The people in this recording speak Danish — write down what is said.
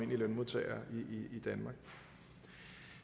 lønmodtagere i danmark